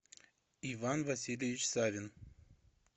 иван васильевич савин